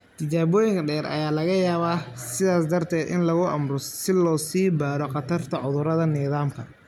Tijaabooyin dheeri ah ayaa laga yaabaa, sidaas darteed, in lagu amro si loo sii baaro khatarta cudurada nidaamka.